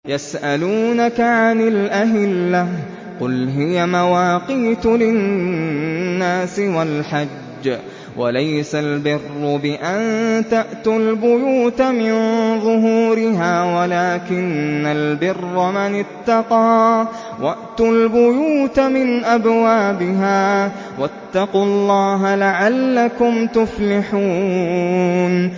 ۞ يَسْأَلُونَكَ عَنِ الْأَهِلَّةِ ۖ قُلْ هِيَ مَوَاقِيتُ لِلنَّاسِ وَالْحَجِّ ۗ وَلَيْسَ الْبِرُّ بِأَن تَأْتُوا الْبُيُوتَ مِن ظُهُورِهَا وَلَٰكِنَّ الْبِرَّ مَنِ اتَّقَىٰ ۗ وَأْتُوا الْبُيُوتَ مِنْ أَبْوَابِهَا ۚ وَاتَّقُوا اللَّهَ لَعَلَّكُمْ تُفْلِحُونَ